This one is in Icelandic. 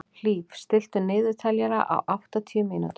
Hlíf, stilltu niðurteljara á áttatíu mínútur.